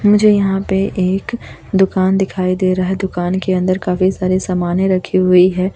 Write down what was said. मुझे यहां पे एक दुकान दिखाई दे रहा है दुकान के अंदर काफी सारे सामानें रखी हुई है।